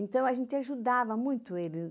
Então, a gente ajudava muito eles.